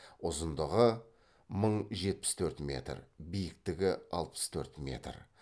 ұзындығы мың жетпіс төрт метр биіктігі алпыс төрт метр